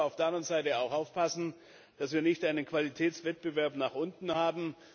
Wir müssen aber auf der anderen Seite auch aufpassen, dass wir nicht einen Qualitätswettbewerb nach unten haben.